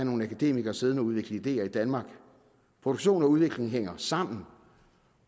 nogle akademikere siddende og udvikle ideer i danmark produktion og udvikling hænger sammen